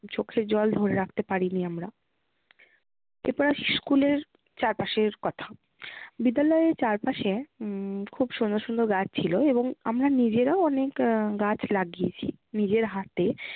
চোখের জল ধরে রাখতে পারিনি আমরা। এরপর আসি school এর চারপাশের কথা। বিদ্যালয়ের চারপাশে উম খুব সুন্দর সুন্দর গাছ ছিল এবং আমরা নিজেরাও অনেক আহ গাছ লাগিয়েছি। নিজের হাতে।